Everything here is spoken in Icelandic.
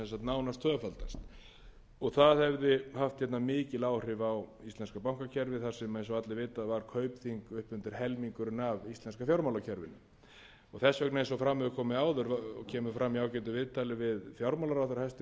nánast tvöfaldast og það hefði haft mikil áhrif á íslenska bankakerfið þar sem eins og allir vita var kaupþing upp undir helmingurinn af íslenska fjármálakerfinu þess vegna eins og fram hefur komið áður og kemur fram í ágætu viðtali við hæstvirtan fjármálaráðherra í bresku dagblaði í dag